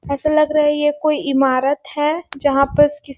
ऐसा लग रहा है ये कोई इमारत है जहाँ पस किस--